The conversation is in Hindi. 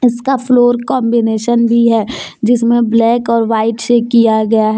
इसका फ्लोर कांबिनेशन भी है जिसमें ब्लैक और व्हाइट से किया गया ह --